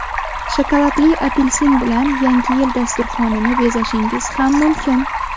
Shokoladli apelsin bilan yangi yil dasturxonini bezashingiz ham mumkin.